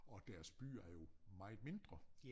Og deres byer er jo meget mindre